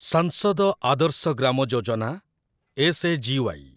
ସାଂସଦ ଆଦର୍ଶ ଗ୍ରାମ ଯୋଜନା ଏସ୍‌.ଏ.ଜି.ୱାଇ.